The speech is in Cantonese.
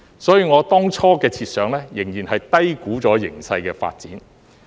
所以，我當初的設想仍然低估形勢的發展。